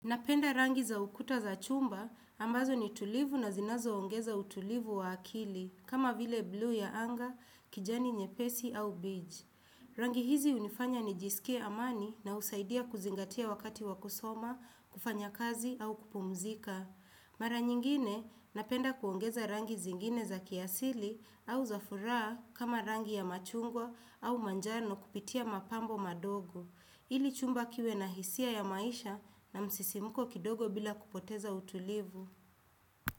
Napenda rangi za ukuta za chumba, ambazo ni tulivu na zinazoongeza utulivu wa akili, kama vile blue ya anga, kijani nyepesi au beige. Rangi hizi hunifanya nijisikie amani na husaidia kuzingatia wakati wa kusoma, kufanya kazi au kupumzika. Mara nyingine, napenda kuongeza rangi zingine za kiasili au za furaha kama rangi ya machungwa au manjano kupitia mapambo madogo. Ili chumba kiwe na hisia ya maisha na msisimuko kidogo bila kupoteza utulivu.